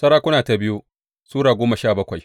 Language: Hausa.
biyu Sarakuna Sura goma sha bakwai